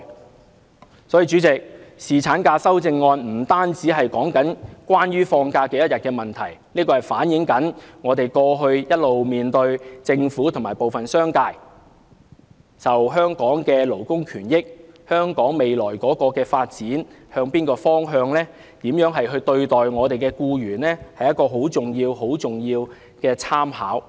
因此，主席，侍產假的修正案不僅是多少天假期的問題，更是反映政府和部分商界過去一直如何看待香港的勞工權益、反映香港未來的發展方向、反映商界如何對待僱員，是一個十分重要、十分重要的參考。